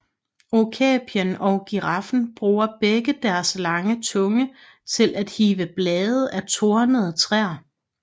Okapien og giraffen bruger begge deres lange tunge til at hive blade af tornede træer